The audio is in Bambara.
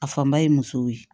A fanba ye musow ye